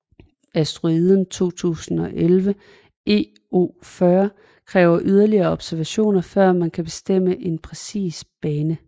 Asteroiden 2011 EO40 kræver yderligere observationer før man kan bestemme en præcis bane